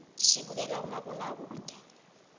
sibukela umabonakude